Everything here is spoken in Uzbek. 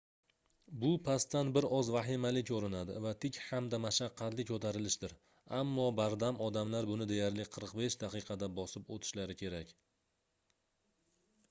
bu pastdan bir oz vahimali koʻrinadi va tik hamda mashaqqatli koʻtarilishdir ammo bardam odamlar buni deyarli 45 daqiqada bosib oʻtishlari kerak